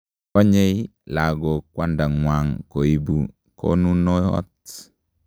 Konyei lakok kwandangwang koibu konunuot.